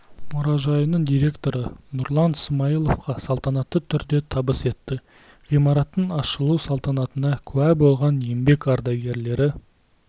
мұражайының директоры нұрлан сымайыловқа салтанатты түрде табыс етті ғимараттың ашылу салтанатына куә болған еңбек ардагерлері